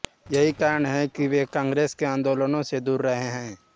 यही कारण है कि वे कांग्रेस के आन्दोलनों से दूर रहे